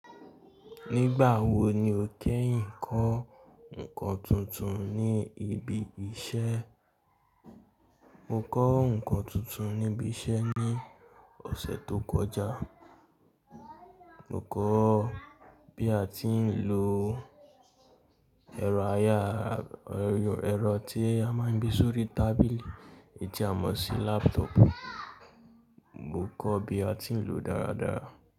Nígbà wo ni o kẹ́yìn kọ́ ǹkan tuntun ní ibi iṣẹ́? Mo kọ́ ǹkan tuntun níbi iṣẹ́ ní ọ̀sẹ̀ tó kọjá. Mo kọ́ bí a ti ń lo ẹ̀rọ ayára, ẹ̀rọ tí a máa ń gbé sórí tábìlì, èyí tí a mọ̀ sí laptop. Mo kọ́ bí a ti ń lòó dáradára.